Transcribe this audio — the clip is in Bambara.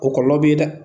O kɔlɔlɔ beyi dɛ